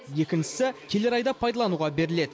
екіншісі келер айда пайдалануға беріледі